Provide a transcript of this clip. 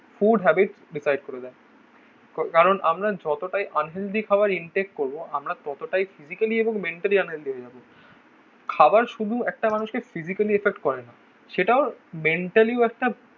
Food habits decide করে দাও কারণ আমরা যতটাই আনসেনলি খাবার ইনটেক করবো আমরা ততটাই ফিজিক্যালি এবং মেন্টালি আনহেলদি হয়ে যাবে. খাবার শুধু একটা মানুষকে ফিজিক্যালি এফেক্ট করে না. সেটাও মেন্টালিও একটা.